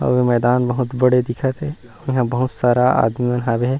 और मैदान बहुत बड़े दिखत हे इहाँ बहुत सारा आदमी हवे।